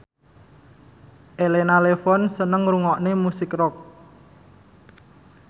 Elena Levon seneng ngrungokne musik rock